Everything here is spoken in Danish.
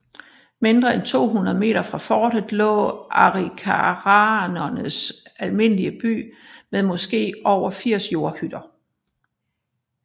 Mindre end 200 meter fra fortet lå arikaraernes almindelige by med måske over 80 jordhytter